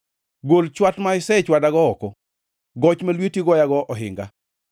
Gol chwat ma isechwadago oko; goch ma lweti goyago ohinga.